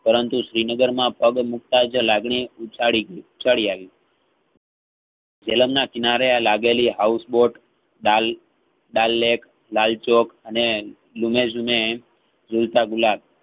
પરંતુ શ્રીનગરમાં પગ મુક્ત જ લાગણી ઉછાળી ગઈ ઉછાળી આવી જલમ ના કિનારે આ લાગેલી house boat દાલ ~દાલેટ લાલચોક અને લૂમેઝુલતા ગુલાબ